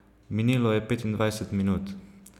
Minilo je petindvajset minut.